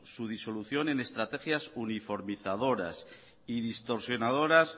su disolución en estrategias uniformizadoras y distorsionadoras